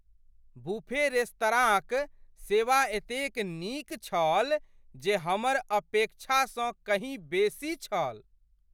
Buffet रेस्तराँक सेवा एतेक नीक छल जे हमर अपेक्षासँ कहीँ बेसी छल।